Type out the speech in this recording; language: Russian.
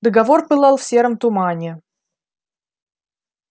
договор пылал в сером тумане